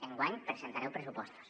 enguany presentareu pressupostos